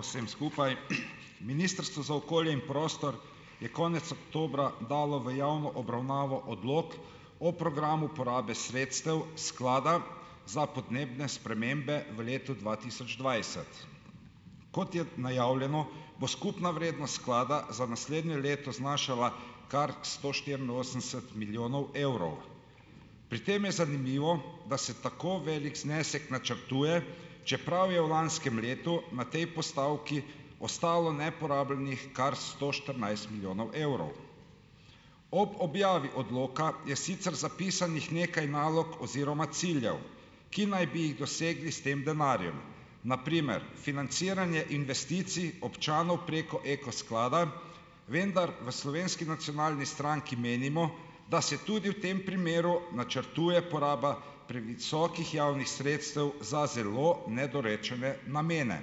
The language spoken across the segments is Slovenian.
vsem skupaj. Ministrstvo za okolje in prostor je konec oktobra dalo v javno obravnavo odlok o programu uporabe sredstev sklada za podnebne spremembe v letu dva tisoč dvajset. Kot je najavljeno, bo skupna vrednost sklada za naslednje leto znašala kar sto štiriinosemdeset milijonov evrov. Pri tem je zanimivo, da se tako velik znesek načrtuje, čeprav je v lanskem letu na tej postavki ostalo neporabljenih kar sto štirinajst milijonov evrov. Ob objavi odloka je sicer zapisanih nekaj nalog oziroma ciljev, ki naj bi jih dosegli s tem denarjem. Na primer, financiranje investicij občanov preko Eko sklada, vendar v Slovenski nacionalni stranki menimo, da se tudi v tem primeru načrtuje poraba previsokih javnih sredstev za zelo nedorečene namene.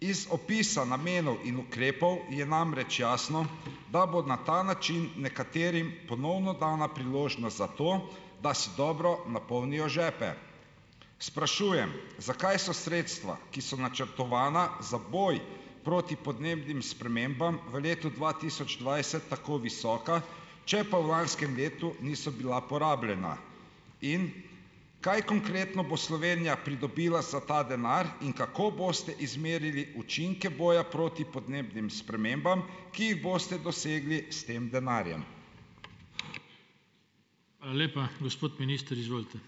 Iz opisa namenov in ukrepov je namreč jasno, da bo na ta način nekaterim ponovno dana priložnost za to, da si dobro napolnijo žepe. Sprašujem, zakaj so sredstva, ki so načrtovana za boj proti podnebnim spremembam v letu dva tisoč dvajset tako visoka, če pa v lanskem letu niso bila porabljena? In kaj konkretno bo Slovenija pridobila za ta denar in kako boste izmerili učinke boja proti podnebnim spremembam, ki jih boste dosegli s tem denarjem? Hvala lepa. Gospod minister, izvolite.